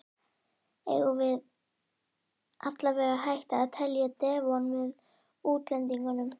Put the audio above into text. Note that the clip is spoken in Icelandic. Eigum við allavega að hætta að telja Devon með útlendingunum?